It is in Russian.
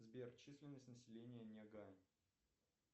сбер численность населения нягань